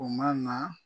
O ma na